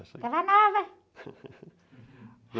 Estava nova.